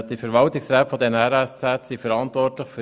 Die Verwaltungsräte der RSZ sind für die Finanzen verantwortlich.